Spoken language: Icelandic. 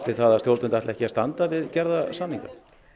það að stjórnvöld ætli ekki að standa við gerða samninga